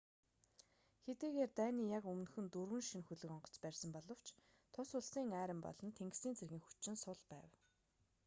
хэдийгээр дайны яг өмнөхөн дөрвөн шинэ хөлөг онгоц барьсан боловч тус улсын арми болон тэнгисийн цэргийн хүчин сул байв